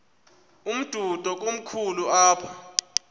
umdudo komkhulu apha